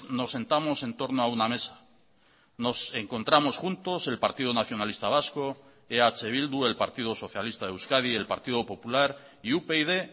nos sentamos en torno a una mesa nos encontramos juntos el partido nacionalista vasco eh bildu el partido socialista de euskadi el partido popular y upyd